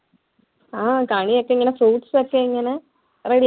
അഹ് കണിയൊക്കെ ഇങ്ങനെ fruits ഒക്കെ ഇങ്ങനെ ready